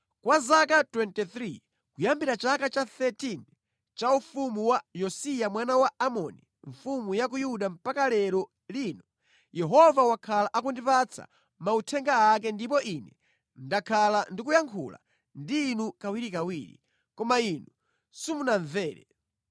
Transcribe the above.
Kwa zaka 23, kuyambira chaka cha 13 cha ufumu wa Yosiya mwana wa Amoni mfumu ya ku Yuda mpaka lero lino, Yehova wakhala akundipatsa mauthenga ake ndipo ine ndakhala ndikuyankhula ndi inu kawirikawiri, koma inu simunamvere.